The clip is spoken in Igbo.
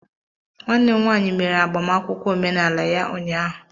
nwanne m nwanyi mere agbamakwụkwọ omenala ya ụnyahụ